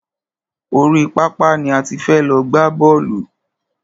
Orí pápá ni a ti fẹ́ lọ gbá bọ́ọ̀lù.